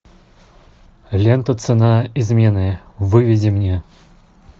лента цена измены выведи мне